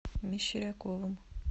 мещеряковым